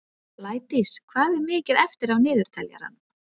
Blædís, hvað er mikið eftir af niðurteljaranum?